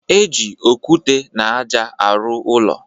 E ji okwute na aja a ruụ ụlọ